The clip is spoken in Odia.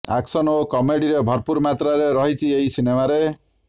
ଆକସନ୍ ଓ କମେଡିରେ ଭରପୂର ମାତ୍ରାରେ ରହିଛି ଏହି ସିନେମାରେ